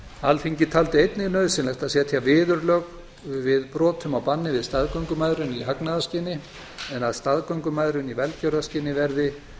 alþingi taldi einnig nauðsynlegt að setja viðurlög við brotum á banni við staðgöngumæðrun í hagnaðarskyni en að staðgöngumæðrun í velgjörðarskyni verði